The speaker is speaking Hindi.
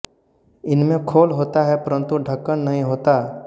इनमें खोल होता है परंतु ढक्कन नहीं होता